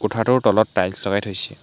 কোঠাটোৰ তলত টায়েলছ লগাই থৈছে।